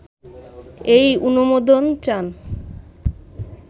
এই অনুমোদন চান